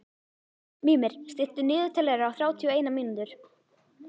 Mímir, stilltu niðurteljara á þrjátíu og eina mínútur.